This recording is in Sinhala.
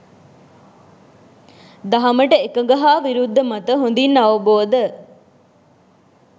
දහමට එකඟ හා විරුද්ධ මත හොඳින් අවබෝධ